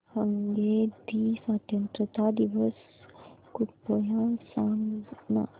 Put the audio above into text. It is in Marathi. हंगेरी स्वातंत्र्य दिवस कृपया सांग ना